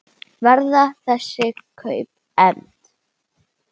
Verða þessi kaup efnd?